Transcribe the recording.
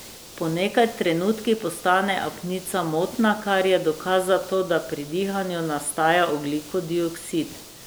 Po nekaj trenutkih postane apnica motna, kar je dokaz za to, da pri dihanju nastaja ogljikov dioksid.